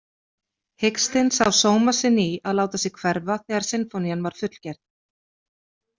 Hikstinn sá sóma sinn í að láta sig hverfa þegar sinfónían var fullgerð.